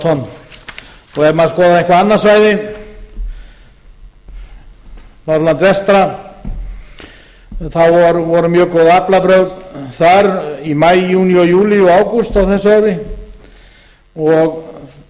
tonn ef maður skoðaði eitthvað annað svæði á norðurlandi vestra þá voru mjög góð aflabrögð þar í maí júní júlí og ágúst á þessu ári